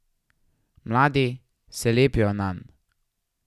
Mladi se lepijo nanj.